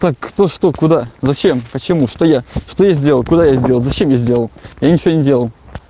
так кто что куда зачем почему что я что я сделал куда я сделал зачем я сделал я ничего не делал